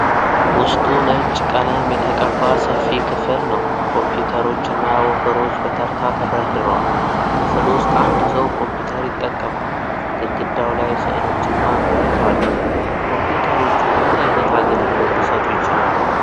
ውስጡ ነጭ ቀለም የተቀባ ሰፊ ክፍል ነው። ኮምፒዩተሮችና ወንበሮች በተርታ ተደርድረዋል። ክፍል ውስጥ አንድ ሰው ኮምፒዩተር ይጠቀማል። ግድግዳው ላይ ስዕሎችና በር አሉ። ኮምፒዩተሮቹ ምን አይነት አገልግሎት ሊሰጡ ይችላሉ?